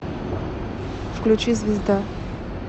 включи звезда